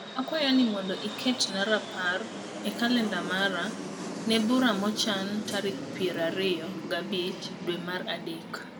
akwayo ni mondo iketna rapar e calenda mara ne bura mochan tarik piero ariyo gabich dwe mar adek